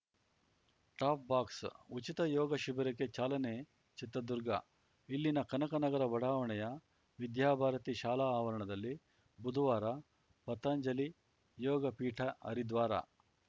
ಟಾಪ್‌ಬಾಕ್ಸ ಉಚಿತ ಯೋಗ ಶಿಬಿರಕ್ಕೆ ಚಾಲನೆ ಚಿತ್ರದುರ್ಗ ಇಲ್ಲಿನ ಕನಕನಗರ ಬಡಾವಣೆಯ ವಿದ್ಯಾ ಭಾರತಿ ಶಾಲಾ ಆವರಣದಲ್ಲಿ ಬುಧವಾರ ಪತಂಜಲಿ ಯೋಗ ಪೀಠ ಹರಿದ್ವಾರ